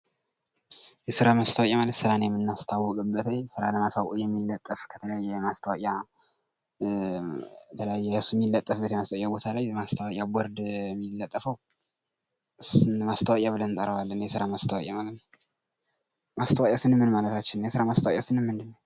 የስራ ማስታወቂያ ማለት ስራን የምናስተዋውቅበትኝ ስራን ለማሳወቅ የሚለጠፍ ከተለያየ የማስታወቂያ የተለያየ እሱ ሚለጠፍበት የማስታወቂያ ቦታ ላይ የማስታወቂያ ቦርድ ሚለጠፈው ማስታወቂያ ብለን እንጠረዋለን የስራ ማስታወቂያ ማለት ነው። ማስታወቂያ ስንል ምን ማለታችን ነው? የስራ ማስታወቂያ ስንል ምንድን ነው?